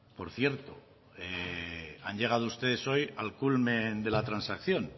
por cierto han llegado ustedes hoy al culmen de la transacción